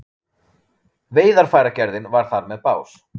Veiðarfæragerðin var þar með bás.